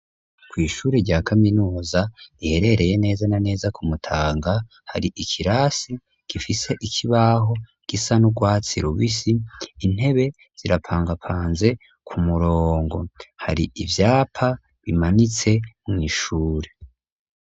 Kwishuri rya kaminuza riherereye neza na neza ku Mutanga .Hari ikirasi gifise ikibaho gisa n'urwatsi rubisi intebe zirapangapanze ku murongo. Hari ivyapa bimanitse mu ishure.